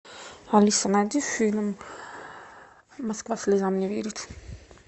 алиса найди фильм москва слезам не верит